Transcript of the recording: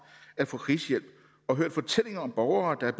at få krisehjælp og hørt fortællinger om borgere der er